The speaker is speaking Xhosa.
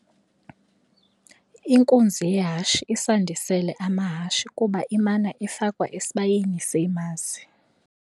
Inkunzi yehashe isandisele amahashe kuba imana ifakwa esibayeni seemazi.